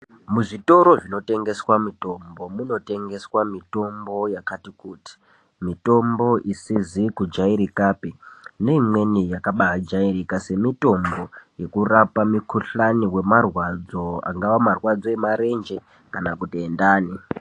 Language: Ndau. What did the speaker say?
Muzvitoro zvinotengesa mitombo munotengeswa mitombo yakati kuti mitombo isizi kujairikapi neimweni yakabajairika semitombo yekurapa mikuhlani semitombo yekurapa mikuhlani wemarwadzo angaa marwadzo emarenje kana kuti endani.